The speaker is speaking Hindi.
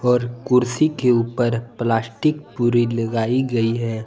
और कुर्सी के ऊपर प्लास्टिक पूरी लगाई गई है।